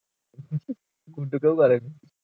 গুড্ডু কেও করেনি